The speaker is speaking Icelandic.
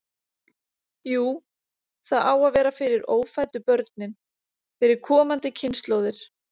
Jú, það á að vera fyrir ófæddu börnin, fyrir komandi kynslóðir.